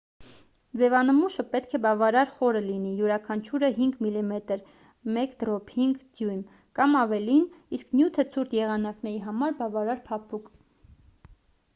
ձևանմուշը պետք է բավարար խոր լինի՝ յուրաքանչյուրը 5 մմ 1/5 դյույմ կամ ավելին իսկ նյութը ցուրտ եղանակների համար՝ բավարար փափուկ: